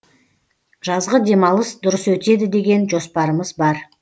жазғы демалыс дұрыс өтеді деген жоспарымыз бар